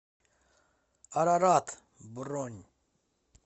арарат бронь